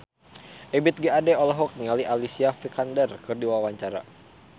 Ebith G. Ade olohok ningali Alicia Vikander keur diwawancara